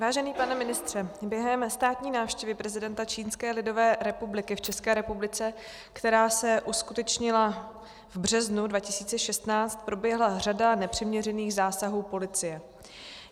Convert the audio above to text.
Vážený pane ministře, během státní návštěvy prezidenta Čínské lidové republiky v České republice, která se uskutečnila v březnu 2016, proběhla řada nepřiměřených zásahů policie.